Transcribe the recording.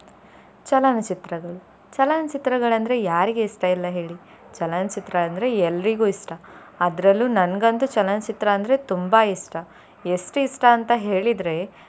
ಚಲನಚಿತ್ರಗಳು ಚಲನಚಿತ್ರಗಳಂದ್ರೆ ಯಾರಿಗೆ ಇಷ್ಟ ಇಲ್ಲ ಹೇಳಿ ಚಲನಚಿತ್ರ ಅಂದ್ರೆ ಎಲ್ರಿಗು ಇಷ್ಟ ಅದ್ರಲ್ಲೂ ನನ್ಗಂತು ಚಲನಚಿತ್ರ ಅಂದ್ರೆ ತುಂಬಾ ಇಷ್ಟ ಎಷ್ಟ್ ಇಷ್ಟ ಅಂತ ಹೇಳಿದ್ರೆ.